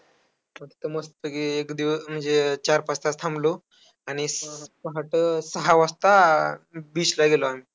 मग त्यानंतर शाळा सकाळचे असायची सकाळी जायचो शाळेत.